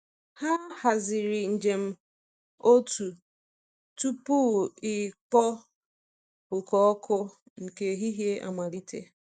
Ha haziri njem otu tupu ikpo oke ọkụ nke ehihie amalite.